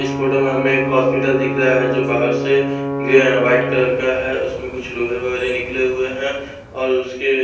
इस फोटो में हमें एक हॉस्पिटल दिख रहा है जो बाहर से ये वाइट कलर का है उसमें कुछ लोहे वगैरा निकले हुए हैं और उसके--